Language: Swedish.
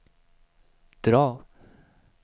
drag